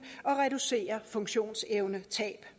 og reducere funktionsevnetab